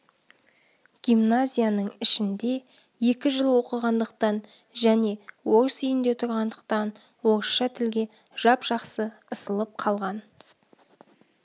гимназияның ішінде екі жыл оқығандықтан және орыс үйінде тұрғандықтан орысша тілге жап-жақсы ысылып қалған